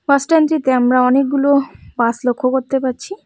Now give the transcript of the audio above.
বাস stand টিতে আমরা অনেকগুলি বাস লক্ষ্য করতে পারছি।